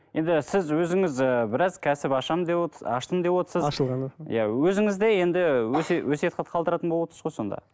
енді сіз өзіңіз ііі біраз кәсіп ашамын деп аштым деп отырсыз ашылғаны иә өзіңіз де енді өсиет қалдыратын болып отырсыз ғой сонда